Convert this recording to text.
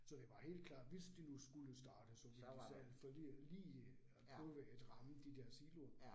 Så det var helt klart, hvis de nu skulle starte, så ville de selvfølgelig lige prøve at ramme de der siloer